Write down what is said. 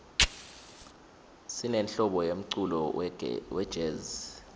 sinenhlobo yemculo wejezi